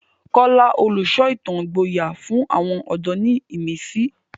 Kola, olùsọ ìtàn ìgboyà, fún àwọn ọ̀dọ́ ní ìmísí.